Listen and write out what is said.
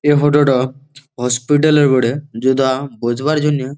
এই ফটো -ট হসপিটাল -এর বটে যেটা-আ বোঝবার জন্যে--